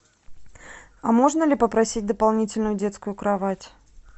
а можно ли попросить дополнительную детскую кровать